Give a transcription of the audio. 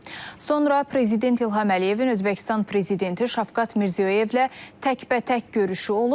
Sonra prezident İlham Əliyevin Özbəkistan prezidenti Şavkat Mirziyoyevlə təkbətək görüşü olub.